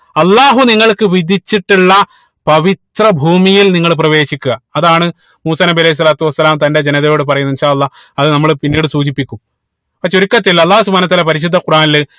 അള്ളാഹു നിങ്ങൾക്ക് വിധിച്ചിട്ടുള്ള പവിത്ര ഭൂമിയിൽ നിങ്ങൾ പ്രവേശിക്കുക അതാണ് മൂസാ നബി അലൈഹി സ്വലാത്തു വസ്സലാം തന്റെ ജനതയോട് പറയുന്നത് അല്ലാഹ്‌ അത് നമ്മള് പിന്നീട് സൂചിപ്പിക്കും ഇപ്പൊ ചുരുക്കത്തിൽ അള്ളാഹു സുബ്‌ഹാനഉ വതാല പരിശുദ്ധ ഖുറാനിൽ